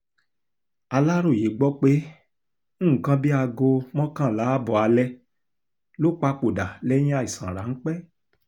aláròye gbọ́ pé nǹkan bíi aago mọ́kànlá ààbọ̀ alẹ́ ló papòdà lẹ́yìn àìsàn ráńpẹ́